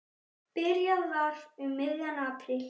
Byrjað var um miðjan apríl.